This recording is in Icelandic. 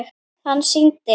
Hann sýndi